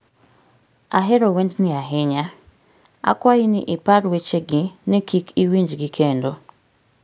ahero wendni ahinya. Akwayi ni ipar wechegi ni kik iwinjgi kendo.